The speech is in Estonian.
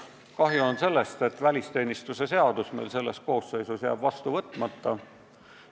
Kahju on sellest, et välisteenistuse seadus jääb selle koosseisu ajal vastu võtmata.